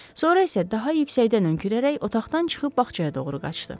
Sonra isə daha yüksəkdən hönkürərək otaqdan çıxıb bağçaya doğru qaçdı.